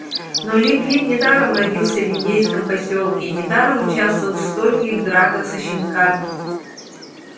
но лип лип недаром родился в индейском посёлке и недаром участвовал в стольких драках со щенками